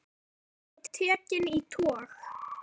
Báturinn var svo tekinn í tog.